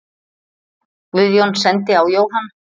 Guðjón sendi á Jóhann.